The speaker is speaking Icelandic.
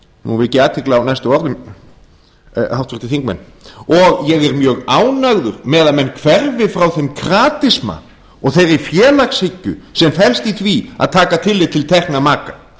nú vek ég athygli á næstu orðum háttvirtir þingmenn og ég er mjög ánægður með að menn hverfi frá þeim kratisma og þeirri félagshyggju sem felst í því að taka tillit til tekna maka